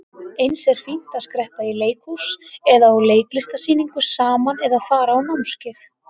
Eins er fínt að skreppa í leikhús eða á listasýningu saman eða fara á námskeið.